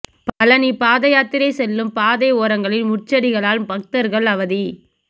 பழனி பாதயாத்திரை செல்லும் பாதை ஓரங்களில் முட்செடிகளால் பக்தர்கள் அவதி